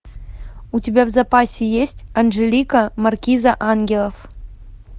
у тебя в запасе есть анжелика маркиза ангелов